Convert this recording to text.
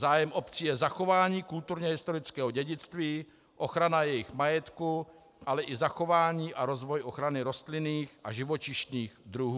Zájem obcí je zachování kulturně-historického dědictví, ochrana jejich majetku, ale i zachování a rozvoj ochrany rostlinných a živočišných druhů.